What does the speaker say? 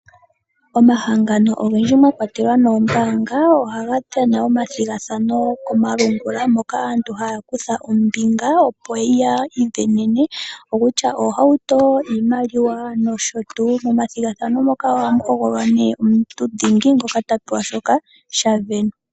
Omahangano ogendji mwa kwatelwa noombaanga oha ga tulapo omathigathano komalungula moka aantu haa kutha ombinga opo yiisindanene ngaashi oohauto, iimaliwa nosho tuu. Momathigathano muka oha mu hogololwa nee omusindani omunelago ngoka ha pewa shoka tashi sindanwapo.